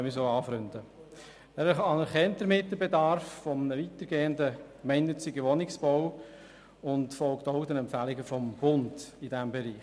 Der Regierungsrat anerkennt damit den Bedarf eines weitergehenden, gemeinnützigen Wohnungsbaus und folgt auch den Empfehlungen des Bundes in diesem Bereich.